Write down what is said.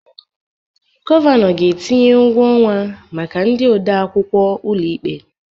Gọvanọ ga-etinye ụgwọ ọnwa maka ndị odeakwụkwọ ụlọ ikpe